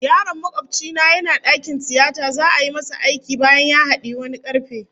Yaron makobci na yana dakin tiyata za'a yi masa aiki bayan ya hadiyi wani karfe